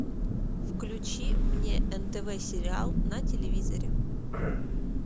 включи мне нтв сериал на телевизоре